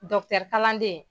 kaladen.